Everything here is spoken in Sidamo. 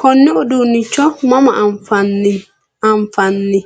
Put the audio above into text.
konne uduunnicho mama afi'nanni?